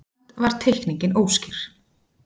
Samt var teikningin óskýr.